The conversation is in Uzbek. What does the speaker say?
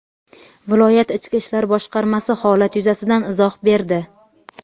Viloyat Ichki ishlar boshqarmasi holat yuzasidan izoh berdi.